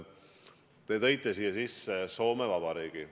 Te tõite siia sisse Soome Vabariigi.